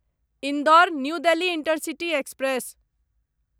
Indore New Delhi intercity express